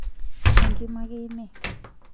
enkima ake ine